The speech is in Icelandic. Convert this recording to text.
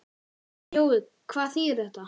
Jói, hvað þýðir þetta?